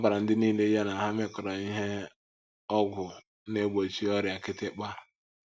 A gbara ndị nile ya na ha mekọrọ ihe ihe ọgwụ na - egbochi ọrịa kịtịkpa.